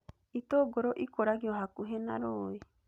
Itũngũrũ ikũragio hakuhĩ na rũũĩ